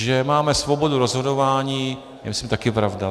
Že máme svobodu rozhodování, je myslím taky pravda.